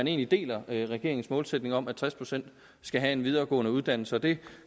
egentlig deler regeringens målsætning om at tres procent skal have en videregående uddannelse det